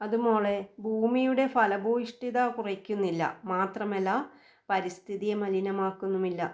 അത് മോളെ ഭൂമിയുടെ ഫലഭൂയിഷ്ഠത കുറയ്ക്കുന്നില്ല മാത്രമല്ല പരിസ്ഥിതിയെ മലിനമാക്കുന്നുമില്ല.